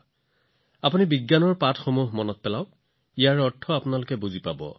যদি আপোনালোকৰ বিজ্ঞানৰ অধ্যয়নবোৰ মনত আছে ইয়াৰ অৰ্থ বুজি পাব